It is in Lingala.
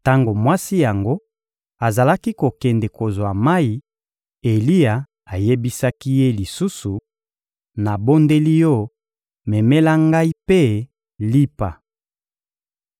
Tango mwasi yango azalaki kokende kozwa mayi, Eliya ayebisaki ye lisusu: — Nabondeli yo, memela ngai mpe lipa.